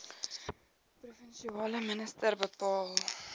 provinsiale minister bepaal